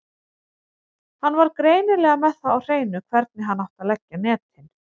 Hann var greinilega með það á hreinu hvernig hann átti að leggja netin.